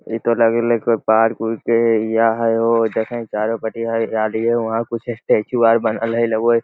इ तो लगेले कोई पार्क उर्क के एरिया हेय हो देखेह चारों पट्टी हरियाली हेय वहां कुछ स्टैचू आर बनल हेय ओय --